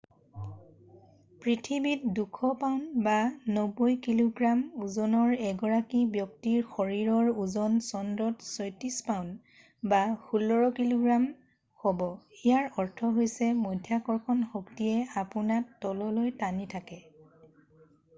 পৃথিৱীত ২০০পাউণ্ড ৯০ কিগ্ৰা ওজনৰ এগৰাকী ব্যক্তিৰ শৰীৰৰ ওজন চন্দ্ৰত ৩৬ পাউণ্ড ১৬ কিগ্ৰা হ'ব। ইয়াৰ অৰ্থ হৈছে মধ্যাকৰ্ষণ শক্তিয়ে আপোনাত তললৈ টানি থাকে।